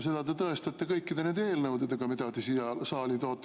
Seda te tõestate kõikide nende eelnõudega, mida te siia saali toote.